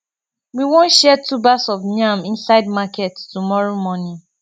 we wan share tubers of yam inside market tomorrow morning